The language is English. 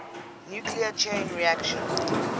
nuclear chain reaction